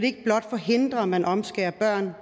ikke blot forhindre at man omskærer børn